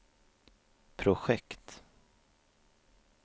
projekt